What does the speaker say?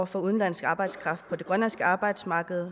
for udenlandsk arbejdskraft på det grønlandske arbejdsmarked